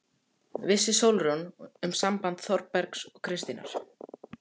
Vissi Sólrún um samband Þórbergs og Kristínar?